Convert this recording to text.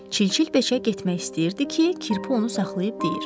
Çilçil beçə getmək istəyirdi ki, kirpi onu saxlayıb deyir: